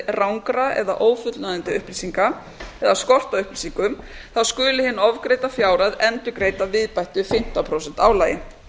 vísvitandi rangra eða ófullnægjandi upplýsinga eða skort á upplýsingum skuli hin ofgreidda fjárhæð endurgreidd að viðbættu fimmtán prósenta álagi